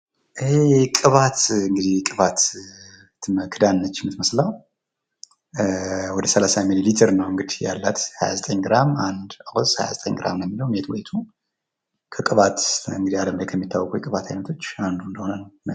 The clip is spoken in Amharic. ይህ እንግዲህ የቅባት እቃ ነች ምትመስለው ወደ 30ሚሊ ሊትር ነው ምትይዘው።29ግራም ነው ሚለው ኔት ዌቱ ።ከቅባት አይነቶች ውስጥ አንዱ እንደሆነ ያሳያል።